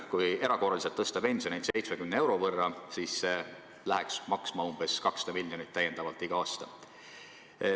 Kui erakorraliselt tõsta pensione 70 euro võrra, siis see läheks maksma 200 miljonit täiendavalt iga aasta.